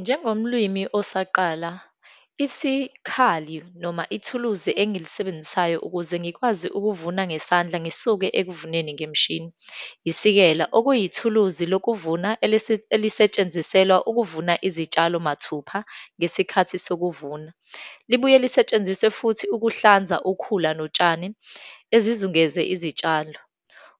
Njengomlwimi osaqala, isikhali noma ithuluzi engilisebenzisayo ukuze ngikwazi ukuvuna ngesandla ngisuke ekuvuneni ngemishini, isikela. Okuyithuluzi lokuvuna elesetshenziselwa ukuvuna izitshalo mathupha ngesikhathi sokuvuma, libuye lisetshenziswe futhi ukuhlanza ukhula notshani ezizungeze izitshalo.